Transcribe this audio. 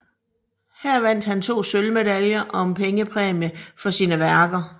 Her vandt han 2 sølvmedaljer og en pengepræmie for sine værker